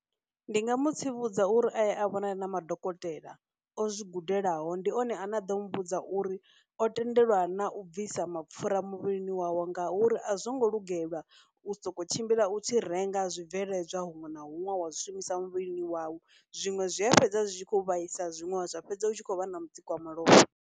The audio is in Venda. Ndi nga mu tsivhudza uri aye a vhonane na madokotela o zwi gudelaho ndi one ane a ḓo mu vhudza uri o tendelwa na u bvisa mapfhura muvhilini wawe ngauri a zwo ngo lugelwa u sokou tshimbila u tshi renga zwibveledzwa huṅwe na huṅwe wa zwishumisa muvhilini wau, zwiṅwe zwi a fhedza zwi tshi khou vhaisa zwiṅwe zwa fhedza u tshi khou vha na mutsiko wa malofha.